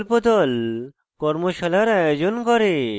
কর্মশালার আয়োজন করে